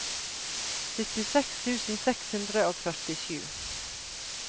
syttiseks tusen seks hundre og førtisju